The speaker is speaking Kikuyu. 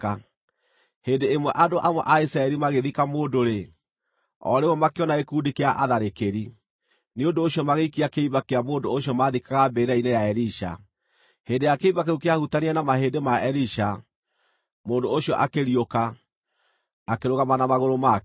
Hĩndĩ ĩmwe andũ amwe a Isiraeli magĩthika mũndũ-rĩ, o rĩmwe makĩona gĩkundi kĩa atharĩkĩri; nĩ ũndũ ũcio magĩikia kĩimba kĩa mũndũ ũcio maathikaga mbĩrĩra-inĩ ya Elisha. Hĩndĩ ĩrĩa kĩimba kĩu kĩahutanirie na mahĩndĩ ma Elisha, mũndũ ũcio akĩriũka, akĩrũgama na magũrũ make.